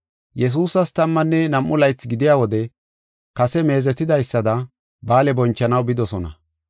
Yesuusas tammanne nam7u laythi gidiya wode kase meezetidaysada ba7aale bonchanaw bidosona.